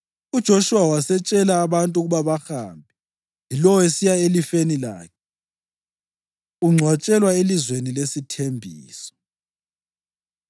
UJoshuwa wasetshela abantu ukuba bahambe, yilowo esiya elifeni lakhe. Ungcwatshelwa Elizweni Lesithembiso